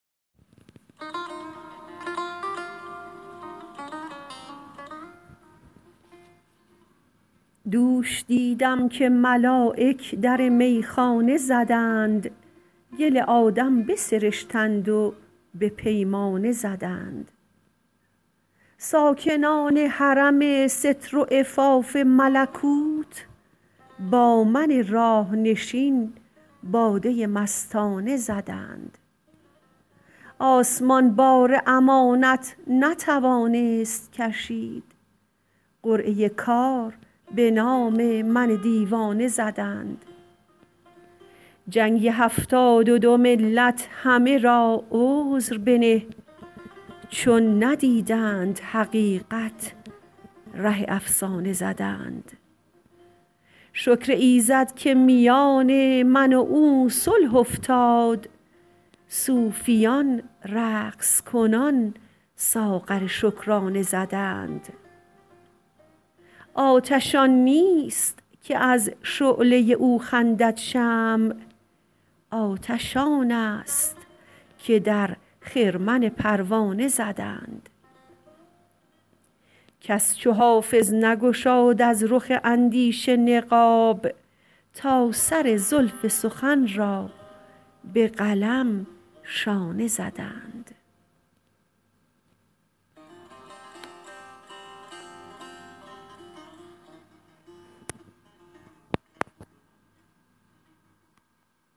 دوش دیدم که ملایک در میخانه زدند گل آدم بسرشتند و به پیمانه زدند ساکنان حرم ستر و عفاف ملکوت با من راه نشین باده مستانه زدند آسمان بار امانت نتوانست کشید قرعه کار به نام من دیوانه زدند جنگ هفتاد و دو ملت همه را عذر بنه چون ندیدند حقیقت ره افسانه زدند شکر ایزد که میان من و او صلح افتاد صوفیان رقص کنان ساغر شکرانه زدند آتش آن نیست که از شعله او خندد شمع آتش آن است که در خرمن پروانه زدند کس چو حافظ نگشاد از رخ اندیشه نقاب تا سر زلف سخن را به قلم شانه زدند